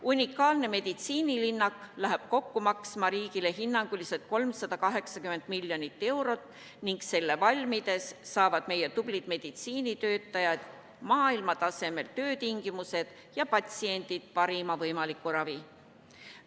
Unikaalne meditsiinilinnak läheb riigile maksma kokku hinnanguliselt 380 miljonit eurot ning selle valmides saavad meie tublid meditsiinitöötajad maailmatasemel töötingimused ja patsiendid parima võimaliku ravi.